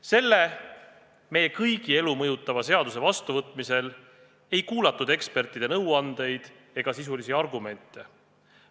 Selle meie kõigi elu mõjutava seaduse vastuvõtmisel ei kuulatud ekspertide nõuandeid ega sisulisi argumente.